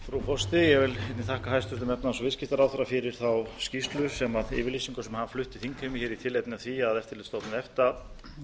vil einnig þakka hæstvirtum efnahags og viðskiptaráðherra fyrir þá yfirlýsingu sem hann flutti þingheimi í tilefni af því að eftirlitsstofnun efta